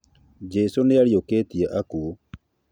Jesũ nĩariũkirie akuũ